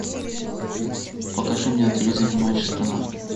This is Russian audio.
покажи мне на телевизоре матч страна